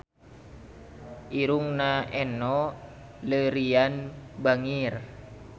Irungna Enno Lerian bangir